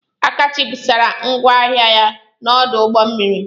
Akachi busara ngwa ahịa ya n'ọdụ ụgbọ mmiri.